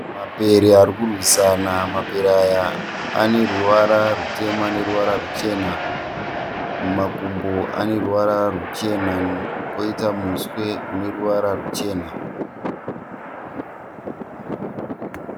Mapere ari kurwisana. Mapere aya ane ruvara rutema neruvara neruchena. Mumakumbo ane ruvara ruchena poita muswe une ruvara ruchena.